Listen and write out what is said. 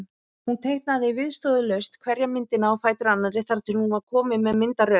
Hún teiknaði viðstöðulaust hverja myndina á fætur annarri þar til hún var komin með myndaröð.